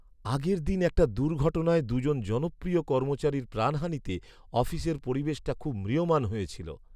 আগের দিন একটা দুর্ঘটনায় দুজন জনপ্রিয় কর্মচারীর প্রাণহানিতে অফিসের পরিবেশটা খুব ম্রিয়মাণ হয়ে ছিল।